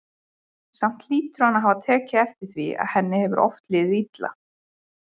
Samt hlýtur hann að hafa tekið eftir því að henni hefur oft liðið illa.